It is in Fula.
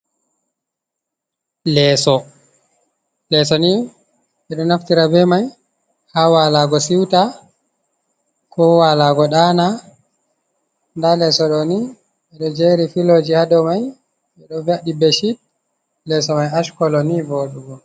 Lesso, lesson ni ɓe ɗo naftira be mai ha walago siuta ko walago ɗaana nda leso ɗo ni ɓedo jeri filloji ha dou mai ɓeɗo ve’iti beshit leso mai ash kolo ni voɗugo.